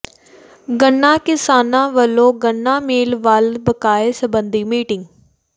ਗੰਨਾ ਕਿਸਾਨਾਂ ਵਲੋਂ ਗੰਨਾ ਮਿੱਲ ਵੱਲ ਬਕਾਏ ਸਬੰਧੀ ਮੀਟਿੰਗ